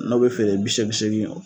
N'o bɛ feere bi seegin seegin.